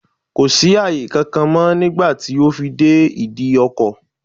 Kò sí àyè kankan mọ́ nígbà tí ó fi dé ìdí ọkọ̀.